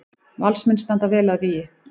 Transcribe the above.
Valsmenn standa vel að vígi